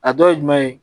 A dɔ ye jumɛn ye